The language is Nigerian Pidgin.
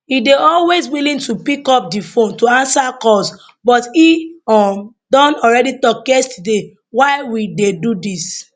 e dey always willing to pick up di phone to answer calls but e um don already tok yesterday why we dey do dis